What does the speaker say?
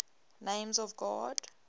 names of god